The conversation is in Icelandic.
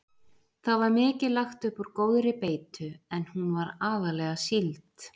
Það var mikið lagt upp úr góðri beitu en hún var aðallega síld.